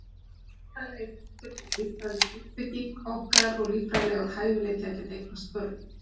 Líffræðilegi þátturinn er líffræðileg uppbygging okkar og líffræðilegur hæfileiki að geta eignast börn.